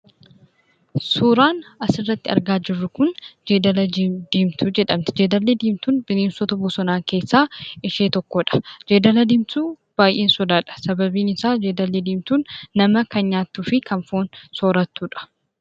Suuraan asi irratti argaa jirru kun jeedala diimtu jedhamti. Jeedalli diimtuun bineensota bosonaa keessaa ishee tokkodha. Jeedalli diimtuu baay'een sodaadha. Sababni isaa jeedalli diimtuun nama kan nyaattuufi kan foon sorattudha.